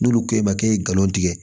N'olu ko e ma k'e ye nkalon tigɛ